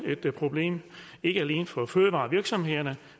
et problem for fødevarevirksomhederne